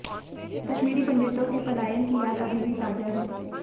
कश्मीरी पंडितों के पलायन की याद अभी भी ताजा है